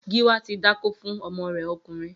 Giwa ti dákó fún ọmọ rè ọkunrin